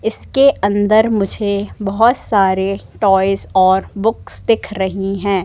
इसके अन्दर मुझे बहोत सारे टॉयज और बुक्स दिख रही है।